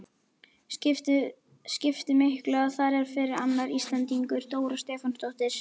Skipti miklu að þar er fyrir annar Íslendingur, Dóra Stefánsdóttir?